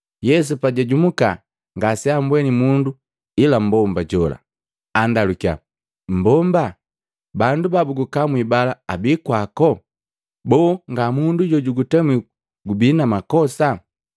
Yesu pajajumuka ngaseambweni mundu ila mbomba jola, andalukiya, “Mbomba, bandu ba bukukamwi bala abii kwako? Boo ngamundu jo jukutemwi gubi na makosa?”